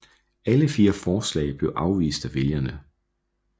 Alle fire forslag blev afvist af vælgerne